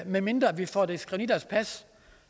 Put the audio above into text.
medmindre vi får det skrevet i deres pas